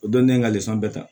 O don ne ye n ka bɛɛ ta